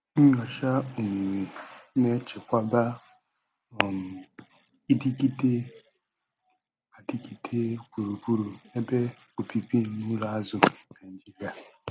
Nnyocha omimi na-echekwaba um idịgide adịgide gburugburu ebe obibi n'ụlọ azụ Naijiria.